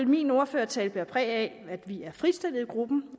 min ordførertale præg af at vi er fritstillet i gruppen